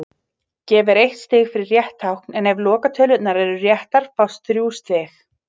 Gefið er eitt stig fyrir rétt tákn en ef lokatölurnar eru réttar fást þrjú stig.